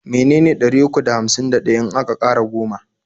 me ne ne ɗari uku da hamsin da ɗaya in aka ƙara goma?